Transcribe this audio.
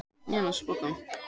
Dverghamri